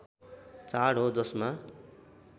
चाड हो जसमा